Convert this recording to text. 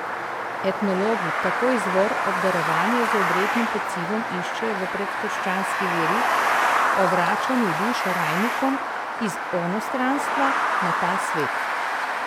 Etnologi tako izvor obdarovanja z obrednim pecivom iščejo v predkrščanski veri o vračanju duš rajnikov iz onostranstva na ta svet.